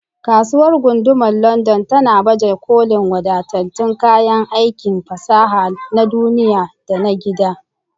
Kasuwar Gundumar London tana baje kolin wadatattun kayan aikin fasaha na duniya da na gida.